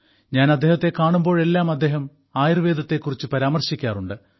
ഞാൻ അദ്ദേഹത്തെ കാണുമ്പോഴെല്ലാം അദ്ദേഹം ആയുർവേദത്തെക്കുറിച്ച് പരാമർശിക്കാറുണ്ട്